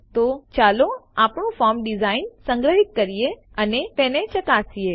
તો ચાલો આપણે ફોર્મ ડીઝાઇન સંગ્રહિત કરીએ અને તેને ચકાસીએ